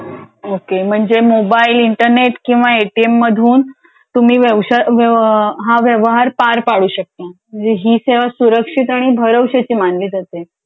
Okay म्हणजे mobile internet किंवा ATM मधून तुम्ही हा व्यवहार पार पाडू शकता. म्हणजे ही सेवा सुरक्षितआणि भरवशाची मानली जाते.